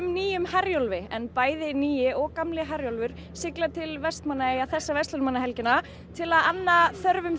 nýjum Herjólfi en bæði nýi og gamli Herjólfur sigla til Vestmannaeyja þessa verslunarmannahelgina til að anna þörfum